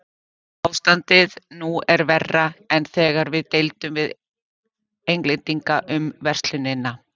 Ástandið nú er verra en þegar við deildum við Englendinga um verslunina.